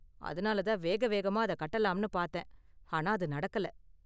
அதனால தான் வேக வேகமா அத கட்டலாம்னு பார்த்தேன், ஆனா அது நடக்கல.